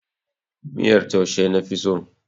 Miyar taushe na fi so.